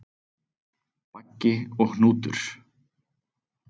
Baggi og Hnútur,